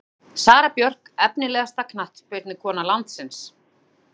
Sara Björk Efnilegasta knattspyrnukona landsins?